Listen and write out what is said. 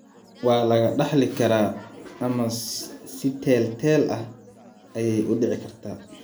Waa laga dhaxli karaa ama si teel-teel ah ayey u dhici kartaa.